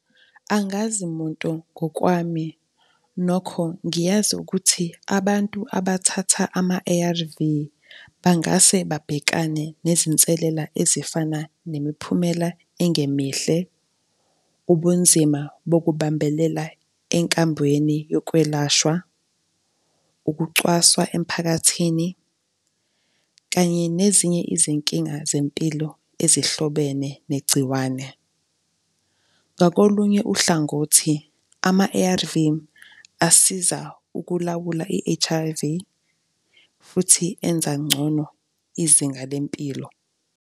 Angazi muntu ngokwami, nokho ngiyazi ukuthi abantu abathatha ama-A_R_V bangase babhekane nezinselela ezifana nemiphumela engemihle, ubunzima bokubambela enkambweni yokwelashwa, ukucwaswa emphakathini kanye nezinye izinkinga zempilo ezihlobene negciwane. Ngakolunye uhlangothi, ama-A_R_V asiza ukulawula i-H_I_V futhi enza ngcono izinga lempilo.